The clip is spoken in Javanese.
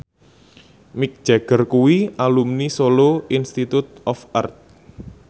Mick Jagger kuwi alumni Solo Institute of Art